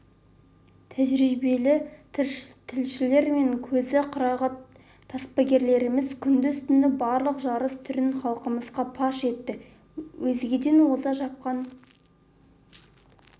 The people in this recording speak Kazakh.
тәжірибелі тілшілер мен көзі қырағы таспагерлеріміз күндіз-түні барлық жарыс түрін халқымызға паш етті өзгеден оза шапқан